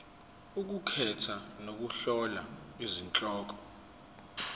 ukukhetha nokuhlola izihloko